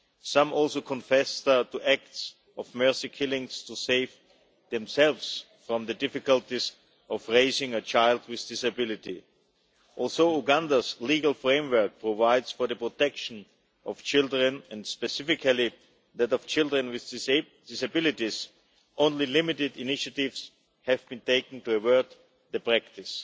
Some also confessed to acts of mercy killing to save themselves from the difficulties of raising a child with a disability. Although Uganda's legal framework provides for the protection of children, and specifically that of children with disabilities, only limited initiatives have been taken to avert the practice.